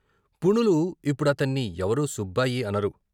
పుణులు ఇప్పుడతన్ని ఎవరూ సుబ్బాయి అనరు.